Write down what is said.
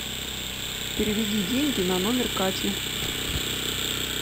переведи деньги на номер кати